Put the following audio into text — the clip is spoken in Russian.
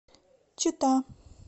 чита